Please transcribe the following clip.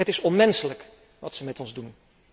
Het is onmenselijk wat ze met ons doen.